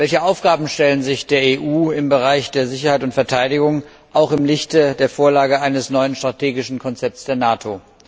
Welche Aufgaben stellen sich der EU im Bereich der Sicherheit und Verteidigung im Lichte der Vorlage eines neuen strategischen Konzepts der NATO?